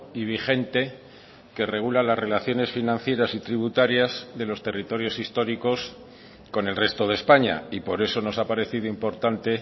y vigente que regula las relaciones financieras y tributarias de los territorios históricos con el resto de españa y por eso nos ha parecido importante